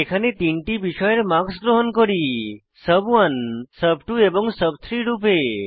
এখানে তিনটি বিষয়ের মার্কস গ্রহণ করি সুব1 সুব2 এবং সুব3 রূপে